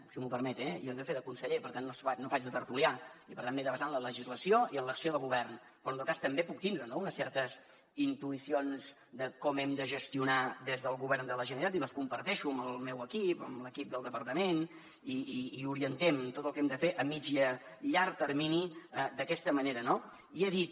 si m’ho permet jo he de fer de conseller per tant no faig de tertulià i per tant m’he de basar en la legislació i en l’acció de govern però en tot cas també puc tindre no unes certes intuïcions de com hem de gestionar des del govern de la generalitat i les comparteixo amb el meu equip amb l’equip del departament i orientem tot el que hem de fer a mitjà i a llarg termini d’aquesta manera no i he dit